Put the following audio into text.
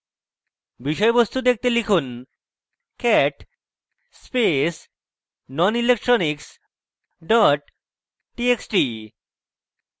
বিষয়বস্তু দেখতে লিখুন: cat space nonelectronics cat txt